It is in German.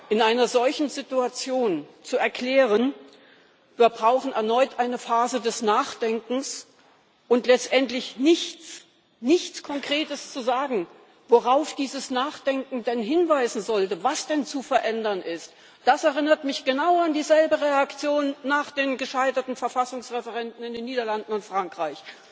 In einer solchen Situation zu erklären Wir brauchen erneut eine Phase des Nachdenkens, und letztendlich nichts Konkretes zu sagen, worauf dieses Nachdenken denn hinweisen sollte, was denn zu verändern ist, das erinnert mich genau an dieselbe Reaktion nach den gescheiterten Verfassungsreferenden in den Niederlanden und Frankreich.